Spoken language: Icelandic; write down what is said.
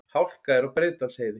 Hálka er á Breiðdalsheiði